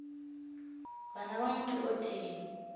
bana ba motho o tee